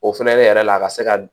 O fɛnɛ ne yɛrɛ la a ka se ka